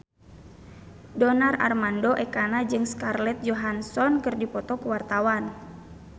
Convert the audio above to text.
Donar Armando Ekana jeung Scarlett Johansson keur dipoto ku wartawan